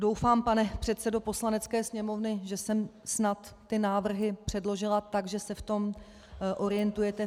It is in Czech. Doufám, pane předsedo Poslanecké sněmovny, že jsem snad ty návrhy předložila tak, že se v tom orientujete.